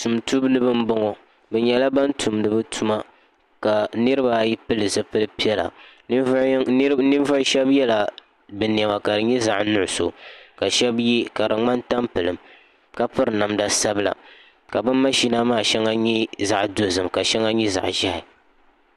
tumtumdiba n boŋo bi nyɛla ban tumdi bi tuma ka niraba ayi pili zipili piɛla ninvuɣu shab yɛla bi niɛma ka di nyɛ zaɣ nuɣso ka shab yɛ ka di ŋmani tampilim ka piri namda sabila ka bi mashina maa shɛli nyɛ zaɣ dozim ka shɛli nyɛ zaɣ ʒiɛhi